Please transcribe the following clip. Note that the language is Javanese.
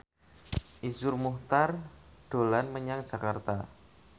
Iszur Muchtar dolan menyang Jakarta